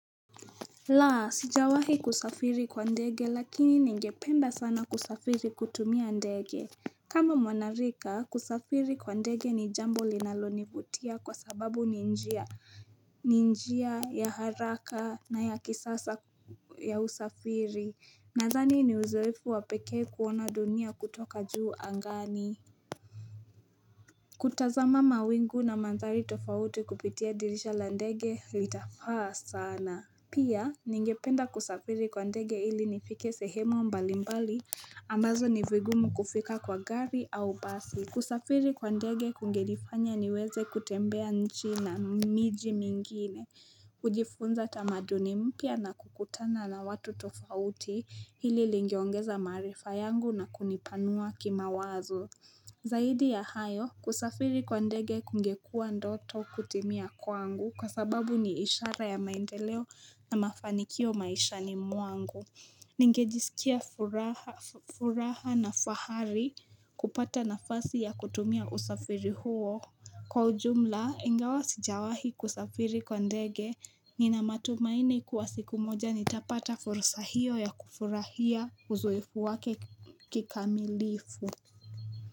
La, sijawahi kusafiri kwa ndege lakini ningependa sana kusafiri kutumia ndege. Kama mwanarika kusafiri kwa ndege ni jambo linalonivutia kwa sababu ni njia ni njia ya haraka na ya kisasa ya usafiri Nadhani ni uzoefu wa pekee kuona dunia kutoka juu angani. Kutazama mawingu na madhari tofauti kupitia dirisha la ndege litafaa sana. Pia, ningependa kusafiri kwa ndege ili nifike sehemu mbalimbali, ambazo ni vigumu kufika kwa gari au basi. Kusafiri kwa ndege kungenifanya niweze kutembea nchi na miji mingine. Kujifunza tamaduni mpya na kukutana na watu tofauti hili lingeongeza maarifa yangu na kunipanua kimawazo. Zaidi ya hayo, kusafiri kwa ndege kungekuwa ndoto kutimia kwangu kwa sababu ni ishara ya maendeleo na mafanikio maishani mwangu. Ningejisikia furaha na fahari kupata nafasi ya kutumia usafiri huo. Kwa ujumla, ingawa sijawahi kusafiri kwa ndege nina matumaini kuwa siku moja nitapata fursa hiyo ya kufurahia uzoefu wake kikamilifu.